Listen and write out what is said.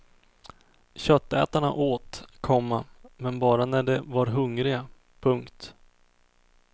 Köttätarna åt, komma men bara när de var hungriga. punkt